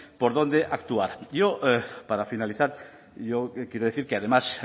por dónde actuar yo para finalizar yo quiero decir que además